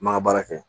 N man ŋa baara kɛ